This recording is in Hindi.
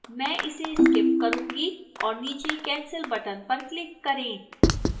मैं इसे skip करूंगी और नीचे cancel button पर click करें